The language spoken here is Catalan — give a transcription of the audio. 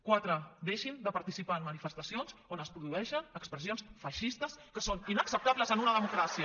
quatre deixin de participar en manifestacions on es produeixen expressions feixistes que són inacceptables en una democràcia